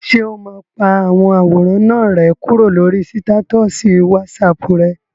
Ṣé o máa pa àwọn àwòrán náà rẹ́ kúrò lórí sítátọ̀sì wásaàpù rẹ?